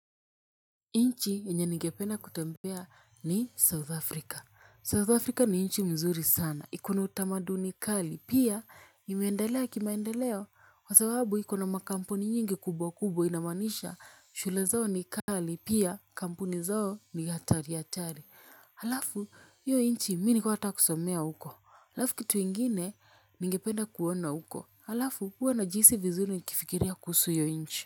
Nchi yenye nigependa kutembea ni South Africa South Africa ni nchi mzuri sana ikona utamaduni kali pia imeendelea kimaendeleo kwa sababu ikona makampuni nyingi kubwa kubwa inamaanisha shule zao ni kali pia kampuni zao ni hatari hatari. Alafu hiyo nchi mi nilikuwa nataka kusomea huko alafu kitu ingine nigependa kuona huko alafu huwa najihisi vizuri nikifikiria kuhusu hiyo nchi.